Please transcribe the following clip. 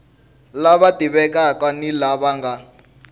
lava tivekaka ni lava nga